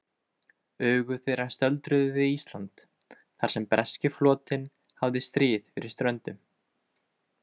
Augu þeirra stöldruðu við Ísland, þar sem breski flotinn háði stríð fyrir ströndum.